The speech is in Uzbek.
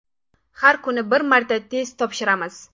Har kuni bir marta test topshiramiz.